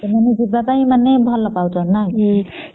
ମାନେ ଯିବା ପାଇଁ ଭଲ ପାଉଛନ୍ତି ନ କି